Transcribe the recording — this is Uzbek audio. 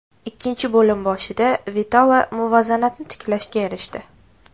Ikkinchi bo‘lim boshida Vitolo muvozanatni tiklashga erishdi.